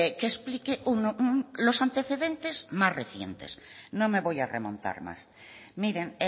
que explique los antecedentes más recientes no me voy a remontar más miren